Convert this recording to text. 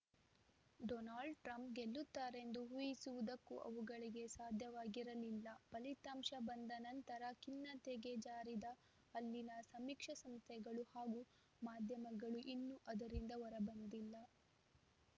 Donald Trump ಗೆಲ್ಲುತ್ತಾರೆಂದು ಊಹಿಸುವುದಕ್ಕೂ ಅವುಗಳಿಗೆ ಸಾಧ್ಯವಾಗಿರಲಿಲ್ಲ ಫಲಿತಾಂಶ ಬಂದ ನಂತರ ಖಿನ್ನತೆಗೆ ಜಾರಿದ ಅಲ್ಲಿನ ಸಮೀಕ್ಷಾ ಸಂಸ್ಥೆಗಳು ಹಾಗೂ ಮಾಧ್ಯಮಗಳು ಇನ್ನೂ ಅದರಿಂದ ಹೊರಬಂದಿಲ್ಲ